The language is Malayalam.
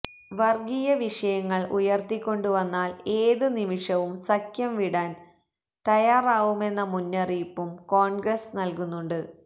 വര്ഗീയ വിഷയങ്ങള് ഉയര്ത്തിക്കൊണ്ടുവന്നാല് ഏത് നിമിഷവും സഖ്യം വിടാന് തയ്യാറാവുമെന്ന മുന്നറിയിപ്പും കോണ്ഗ്രസ് നല്കുന്നുണ്ട്